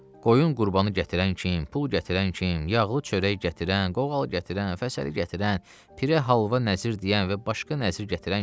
Qoyun qurbanı gətirən kim, pul gətirən kim, yağlı çörək gətirən, qoğal gətirən, fəsəli gətirən, tirə halva nəzir deyən və başqa nəzir gətirən kim.